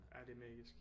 Ja det er magisk